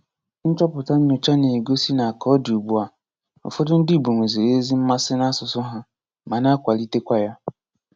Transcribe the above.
Nchọpụta nyocha na-egosi na ka ọ dị ugbu a, ụfọdụ ndị igbo nweziri ezi mmasị n'asụsụ ha, ma na-akwalitekwa ya.